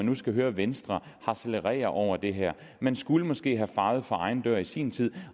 nu skal høre venstre harcelere over det her man skulle måske have fejet for egen dør i sin tid